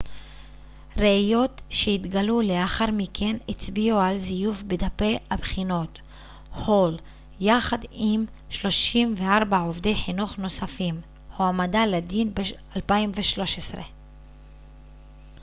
ראיות שהתגלו לאחר מכן הצביעו על זיוף בדפי הבחינות הול יחד עם 34 עובדי חינוך נוספים הועמדה לדין ב-2013